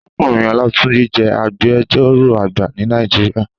Àrákúnrín Olatunji jè ágbèjòró àgbá ni Nàijiriá